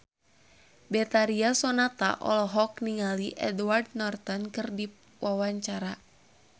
Betharia Sonata olohok ningali Edward Norton keur diwawancara